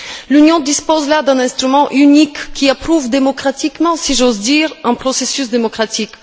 L'Union dispose là d'un instrument unique qui approuve démocratiquement, si j'ose dire, un processus démocratique.